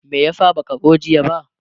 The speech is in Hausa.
me yasa baka zo jiya ba?